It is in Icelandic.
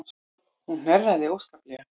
Hún hnerraði óskaplega.